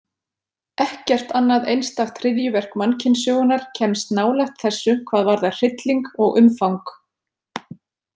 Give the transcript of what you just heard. Ekkert annað einstakt hryðjuverk mannkynssögunnar kemst nálægt þessu hvað varðar hrylling og umfang.